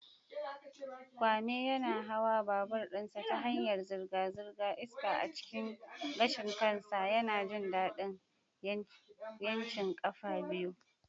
Kwame yana hawa babur ɗinsa ta hanyar zirga-zirga, iska a cikin gashin kansa, yana jin daɗin 'yancin ƙafa biyu.